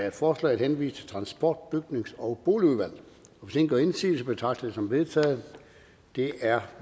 at forslaget henvises til transport bygnings og boligudvalget hvis ingen gør indsigelse betragter jeg det som vedtaget det er